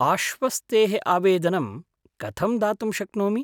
आश्वस्तेः आवेदनं कथं दातुं शक्नोमि?